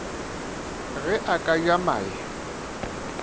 ge a ka ja mae